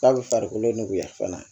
K'a bɛ farikolo nuguya fana